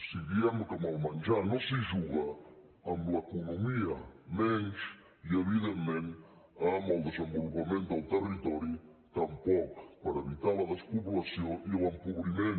si diem que amb el menjar no s’hi juga amb l’economia menys i evidentment amb el desenvolupament del territori tampoc per evitar la despoblació i l’empobriment